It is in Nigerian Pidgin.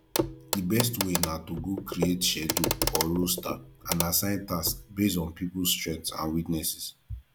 di best way na to go create schedule or roster and assign tasks based on peoples strengths and weaknesses